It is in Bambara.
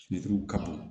ka bo